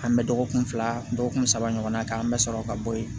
An bɛ dɔgɔkun fila dɔgɔkun saba ɲɔgɔn na k'an bɛ sɔrɔ ka bɔ yen